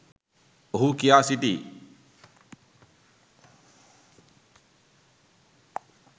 ඔහු කියා සිටියි